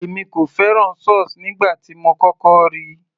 èmi kò fẹ́ràn sauce nígbà tí mo kọ́kọ́ ríi